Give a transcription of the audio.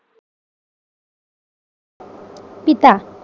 পিতা